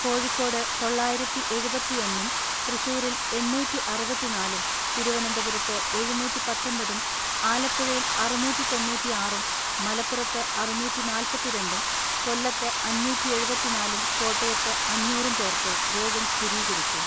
കോഴിക്കോട് തൊള്ളായിരത്തിഎഴുപത്തിഒന്നും തൃശൂരിൽ എണ്ണൂറ്റിഅറുപത്തിനാലും തിരുവനന്തപുരത്ത് എഴുന്നൂറ്റിപത്തൊൻപതും ആലപ്പുഴയിൽ അറുന്നൂറ്റിതൊണ്ണൂറ്റിആറും മലപ്പുറത്ത് അറുന്നൂറ്റിനാല്‍പത്തിരണ്ടും കൊലത്ത് അഞ്ഞൂറ്റിഎഴുപത്തിനാലും കോട്ടയത്ത് അഞ്ഞൂറും പേർക്ക് രോഗം സ്ഥിരീകരിച്ചു.